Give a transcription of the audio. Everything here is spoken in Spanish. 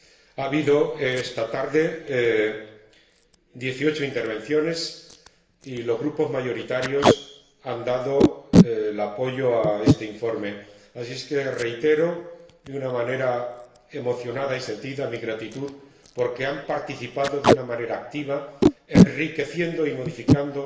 Ha habido esta tarde 18 intervenciones y los Grupos mayoritarios han apoyado este informe, así es que reitero, de una manera emocionada y sentida, mi gratitud, porque han participado de una manera activa, enriqueciendo y modificando